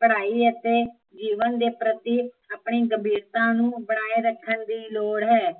ਪੜਾਈ ਅਤੇ ਜੀਵਨ ਦੇ ਪ੍ਰਤੀ ਆਪਣੀ ਗੱਭੀਰਤਾ ਨੂੰ ਬਣਾਏ ਰੱਖਣ ਦੀ ਲੋੜ ਹੈ